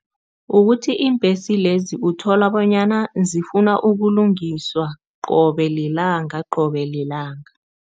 Ukuthi iimbhesi lezi uthola bonyana zifuna ukulungiswa qobe lilanga, qobe lilanga.